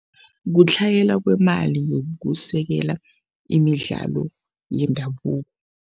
Kutlhayela kwemali yokusekela imidlalo yendabuko.